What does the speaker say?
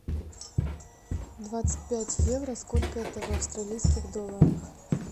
двадцать пять евро сколько это в австралийских долларах